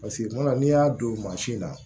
Paseke kuma dɔ la n'i y'a don mansin na